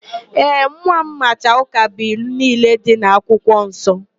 Ee, nwa m macha ụkabụilu niile dị n'akwụkwọ nsọ.